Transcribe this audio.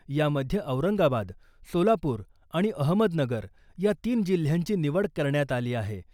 यामध्ये औरंगाबाद , सोलापूर आणि अहमदनगर या तीन जिल्ह्यांची निवड करण्यात आली आहे.